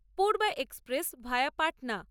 Purba express via Patna